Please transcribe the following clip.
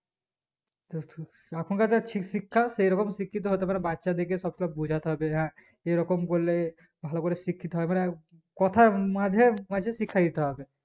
এখন কে যা শিশিক্ষা সেরকম শিক্ষিত হতেপারে বাচ্চাদেরকে সব সময় বোঝাতে হবে হ্যাঁ এই রকম বললে ভালোকরে শিক্ষিত হয় এবারে কথার মাঝে মাঝে শিক্ষা দিতে হবে